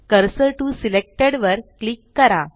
cursor TO selected वर click करा